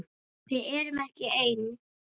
Við erum ekki ein.